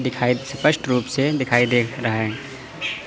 दिखाई स्पष्ट रूप से दिखाई दे रहा है।